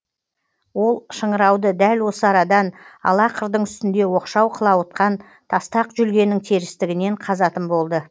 ол шыңырауды дәл осы арадан ала қырдың үстінде оқшау қылауытқан тастақ жүлгенің терістігінен қазатын болды